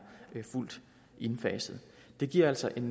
fuldt indfaset det giver altså en